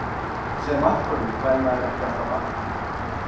Sem markvörður fær maður ekki alltaf athyglina.